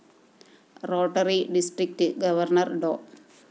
rotary district governor Dr